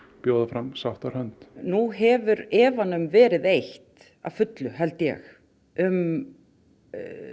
bjóða fram sáttahönd nú hefur efanum verið eytt að fullu held ég um